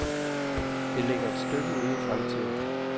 Det ligger et stykke ude i fremtiden.